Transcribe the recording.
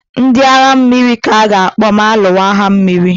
Ndị agha mmiri ka a ga-akpọ ma alụwa agha mmiri.